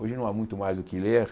Hoje não há muito mais o que ler.